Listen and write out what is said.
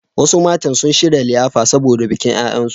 Wasu mata sun shirya liyafa saboda bikin ƴaƴansu.